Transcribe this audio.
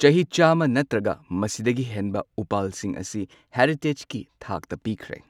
ꯆꯍꯤ ꯆꯥꯝꯃ ꯅꯠꯇ꯭ꯔꯒ ꯃꯁꯤꯗꯒꯤ ꯍꯦꯟꯕ ꯎꯄꯥꯜꯁꯤꯡ ꯑꯁꯤ ꯍꯦꯔꯤꯇꯦꯖꯀꯤ ꯊꯥꯛꯇ ꯄꯤꯈ꯭ꯔꯦ꯫